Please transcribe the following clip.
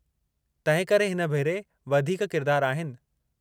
तंहिंकरे हिन भेरे वधीक किरदारु आहिनि।